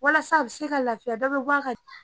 Walasa a bi se ka lafiya dɔ be ka